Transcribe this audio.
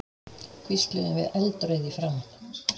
hvísluðum við eldrauð í framan.